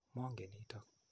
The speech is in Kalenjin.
Mongen nitok.